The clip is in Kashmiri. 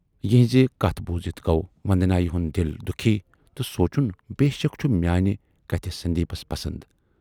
یِہٕنزِ کتھٕ بوٗزِتھ گَو وندنایہِ ہُند دِل دُکھی تہٕ سونچُن بے شک چھِ میانہِ کتھٕ سندیپس پسند ۔